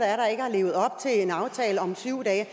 er der ikke har levet op til en aftale om syv dage